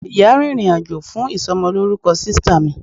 ìyá rìnrìn àjò fún isomoloruko sista mi